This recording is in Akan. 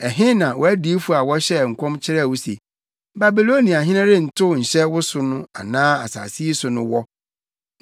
Ɛhe na wʼadiyifo a wɔhyɛɛ nkɔm kyerɛɛ wo se, ‘Babiloniahene rentow nhyɛ wo so anaa asase yi so’ no wɔ?